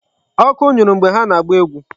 Ọkụ nyụrụ mgbe ha na-agba egwu.